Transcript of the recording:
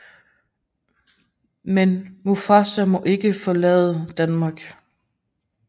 Men Mustafa må ikke forlade Danmark